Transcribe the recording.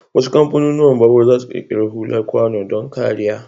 Wasu kamfanunuwan babur zasu ƙirƙiri hular kwano don kariya.